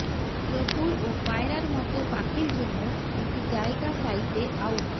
চতুর ও পায়রার মতো পাখির জন্য একটি জায়গা চাইতে আউট